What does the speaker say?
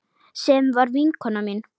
Sem var vinkona mín.